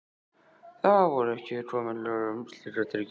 Þá voru ekki komin lög um slíkar tryggingar.